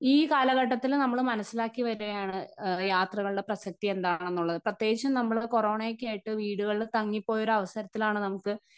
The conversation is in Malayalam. സ്പീക്കർ 1 ഈ കാലഘട്ടത്തിൽ നമ്മള് മനസ്സിലാക്കി വരുകയാണ് അ യാത്രകളുടെ പ്രസക്തി എന്താണെന്നുള്ളത് പ്രേത്യേകിച്ച് നമ്മള് കോറോണയൊക്കെയായിട്ട് വീടുകളിൽ തങ്ങിപോയോരു അവസരത്തിലാണ് നമുക്ക്.